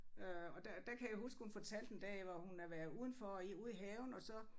Øh og der der kan jeg huske hun fortalte en dag hvor hun havde været udenfor i ude i haven og så